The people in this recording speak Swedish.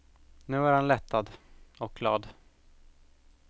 Nu är han lättad, och glad.